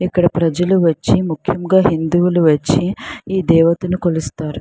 ఇక్కడ ప్రజలు వచ్చి ముఖ్యంగా హిందువులు వచ్చి ఈ దేవతను కొలుస్తారు.